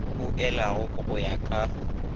o elwago go ya ka